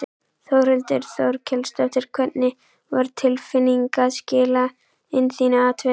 Þórhildur Þorkelsdóttir: Hvernig var tilfinningin að skila inn þínu atkvæði?